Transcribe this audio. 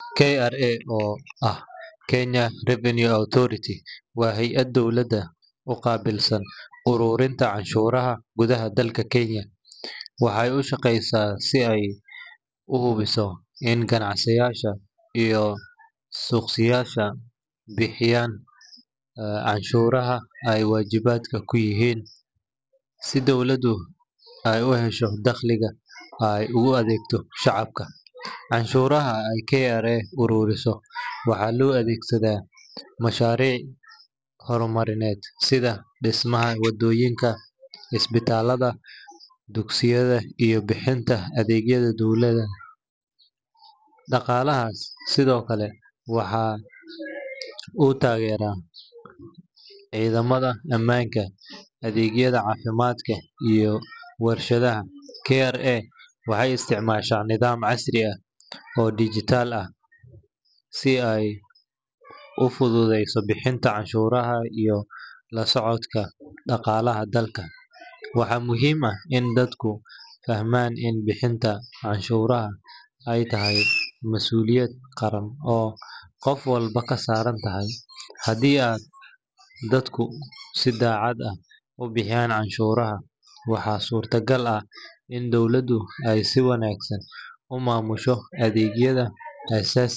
kra oo ah kenya revenue authority wa hay aad dowlada ugabilsan ururinta canshuraha gudaha dalka kenya, waxay ushageysa si ay uhubiso in gacansiyasha iyo suqsiyasha bihiyan canshuraha ay wajibadka kuyixiin, si dowladu ay uhesho daqliga ay u adegto shacabka, canshuraha ay kra ururiso waxa loadegsada masharic hormarined sida dismaha wadoyinka, ispitalada iyo dugsiyada iyo bihinta adegyada dowlada, dagalahas Sidhokale waxa uu tagera cidamada amanka adegyada cafimadka iyo warshadaha kra waxay isticmasha nidaam casri ah oo digital ah si ay u fudu deyso bihinta canshuraha iyo lasocodka daqalaha dalka, waxa muxiim ah i dadka fahman in bihinta canshuraha ay tahay masuliyad qaraan oo gofwalbo kasarantoho , hadi aad dadku si dacad ah ubihiyan canshuraha waxa surta gaal ah in dowladu ay si wanagsan uu mamusho adegyada asasiga.